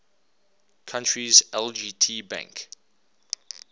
country's lgt bank